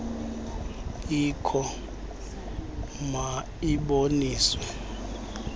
ikho ma iboniswe